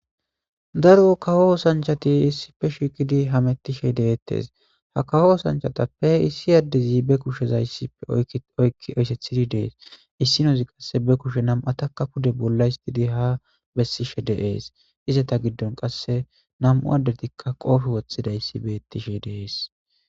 Daro kaho sanchati issife shikidi hamettishe deettes ha kaho sanchatappe issi addezi be kushezayssife oykki eysethidi dees issinozi qasse be kushe nam'ataka pude bolla histidi ha bessishe deees izeta giddon qasse nam'u addetikka qoofe woththida issi beettishe deees.